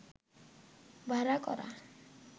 ভাড়া করা